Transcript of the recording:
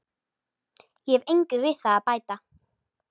Ég hef engu við það að bæta.